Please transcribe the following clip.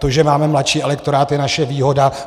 To, že máme mladší elektorát, je naše výhoda.